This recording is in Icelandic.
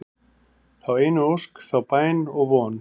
þá einu ósk, þá bæn og von